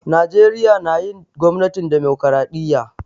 Najeriya na yin gwamnatin dimokiradiyya.